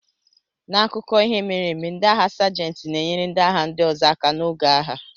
N'akụkọ ihe mere eme, ndị agha sajenti na-enyere ndị agha ndị ọzọ aka n'oge agha.